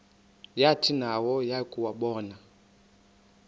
yathi nayo yakuwabona